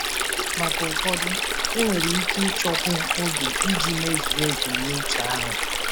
Maka ụfọdụ, enwere ike ịchọkwu oge iji mezuo ebumnuche ahụ.